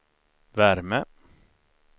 värme